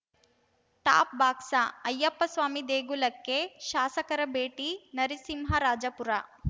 ಟಾಪ್‌ಬಾಕ್ಸ ಅಯ್ಯಪ್ಪಸ್ವಾಮಿ ದೇಗುಲಕ್ಕೆ ಶಾಸಕರ ಭೇಟಿ ನರಸಿಂಹರಾಜಪುರ